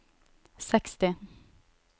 seksti